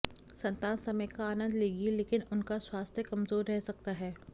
संतान समय का आनंद लेगी लेकिन उनका स्वास्थ्य कमज़ोर रह सकता है